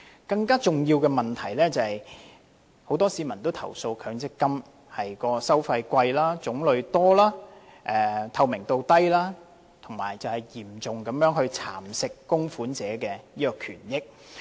更重要的問題是很多市民均投訴強積金收費高、種類多、透明度低，嚴重蠶食供款者的權益。